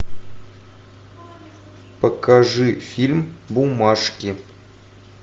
покажи фильм бумажки